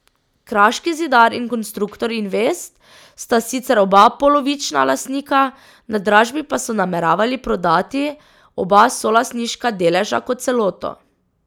Kraški zidar in Konstruktor Invest sta sicer oba polovična lastnika, na dražbi pa so nameravali prodati oba solastniška deleža kot celoto.